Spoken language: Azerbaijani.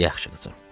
Yaxşı, qızım.